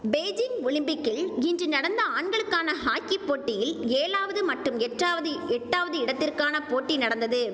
Beijing ஒலிம்பிக்கில் இன்று நடந்த ஆண்களுக்கான ஹாக்கி போட்டியில் ஏழாவது மற்றும் எட்டாவது எட்டாவது இடத்திற்கான போட்டி நடந்தது